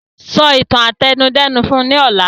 Sọ ìtàn àtẹnudẹ́nu fún ní ọ̀la!